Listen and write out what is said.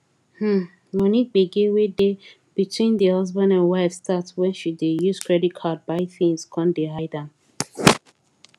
um money gbege wey dey between di husband and wife start wen she dey use credit card buy things con dey hide am